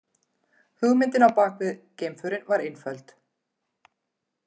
Hugmyndin á bakvið geimförin var einföld.